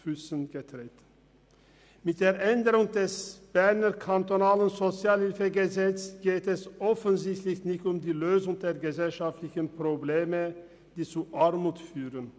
Bei der Änderung des Berner SHG geht es offensichtlich nicht um die Lösung der gesellschaftlichen Probleme, die zu Armut führen.